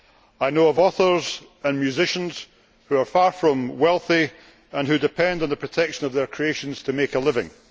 I know of authors and musicians who are far from wealthy and who depend on the protection of their creations to make a living.